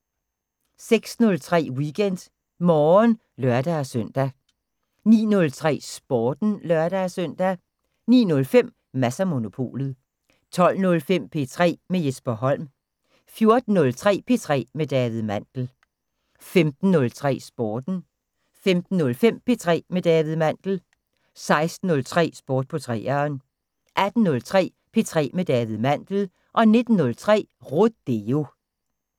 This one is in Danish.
06:03: WeekendMorgen (lør-søn) 09:03: Sporten (lør-søn) 09:05: Mads & Monopolet 12:05: P3 med Jesper Holm 14:03: P3 med David Mandel 15:03: Sporten 15:05: P3 med David Mandel 16:03: Sport på 3'eren 18:03: P3 med David Mandel 19:03: Rodeo